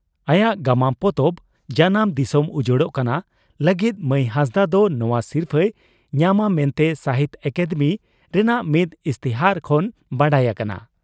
ᱟᱭᱟᱜ ᱜᱟᱢᱟᱢ ᱯᱚᱛᱚᱵ 'ᱡᱟᱱᱟᱢ ᱫᱤᱥᱚᱢ ᱩᱡᱟᱹᱲᱚᱜ ᱠᱟᱱᱟ' ᱞᱟᱹᱜᱤᱫ ᱢᱟᱹᱭ ᱦᱟᱸᱥᱫᱟᱜ ᱫᱚ ᱱᱚᱣᱟ ᱥᱤᱨᱯᱷᱟᱹᱭ ᱧᱟᱢᱟ ᱢᱮᱱᱛᱮ ᱥᱟᱦᱤᱛᱭᱚ ᱟᱠᱟᱫᱮᱢᱤ ᱨᱮᱱᱟᱜ ᱢᱤᱫ ᱤᱥᱛᱤᱦᱟᱨ ᱠᱷᱚᱱ ᱵᱟᱰᱟᱭ ᱟᱠᱟᱱᱟ ᱾